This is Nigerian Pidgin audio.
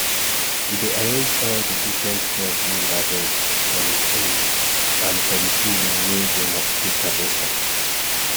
we dey arrange all di different crop wey we harvest on hin own and fo di season wen dem take harvest am